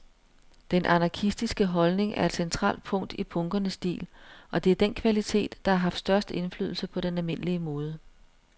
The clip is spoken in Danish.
Den anarkistiske holdning er et centralt punkt i punkernes stil, og det er den kvalitet, der har haft størst indflydelse på den almindelige mode.